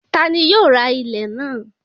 Ta ni yóò ra ilẹ̀ náà?